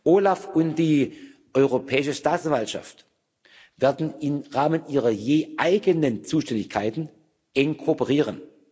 OLAF und die Europäische Staatsanwaltschaft werden im Rahmen ihrer je eigenen Zuständigkeiten eng kooperieren.